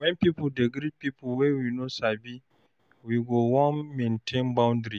When we dey greet pipo wey we no sabi we go wan maintain boundry